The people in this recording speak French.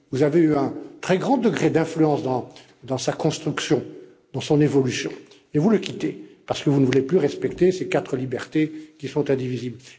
Vous avez eu un très grand degré d'influence dans sa construction et dans son évolution, mais vous le quittez parce que vous ne voulez plus respecter ces quatre libertés qui sont indivisibles.